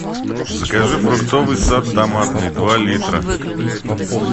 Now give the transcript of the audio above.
закажи фруктовый сад томатный два литра